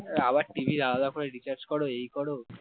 আবার TV আলাদা করে recharge করো এই করো